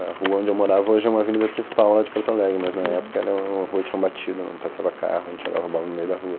A rua onde eu morava hoje é uma avenida principal lá de Porto Alegre, mas na época a rua de chão batido, não passava carro, a gente jogava bola no meio da rua.